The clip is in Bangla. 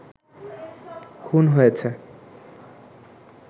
খুন হয়েছে